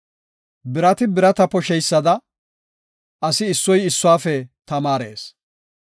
Birati birata posheysada, asi issoy issuwafe tamaarees.